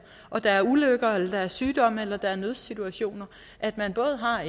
og der er ulykker eller sygdomme eller nødsituationer at man både har